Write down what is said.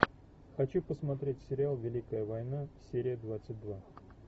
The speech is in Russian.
хочу посмотреть сериал великая война серия двадцать два